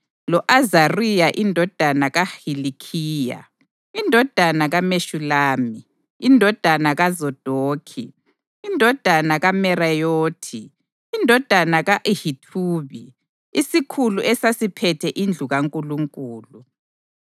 lo-Azariya indodana kaHilikhiya, indodana kaMeshulami, indodana kaZadokhi, indodana kaMerayothi, indodana ka-Ahithubi, isikhulu esasiphethe indlu kaNkulunkulu;